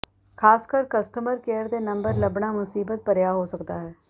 ਖਾਸਕਰ customer care ਦੇ number ਲੱਭਣਾ ਮੁਸੀਬਤ ਭਰਿਆ ਹੋ ਸਕਦਾ ਹੈ